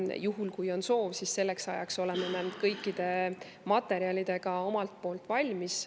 Nii et juhul kui on soov, siis selleks ajaks oleme me omalt poolt kõik materjalid valmis.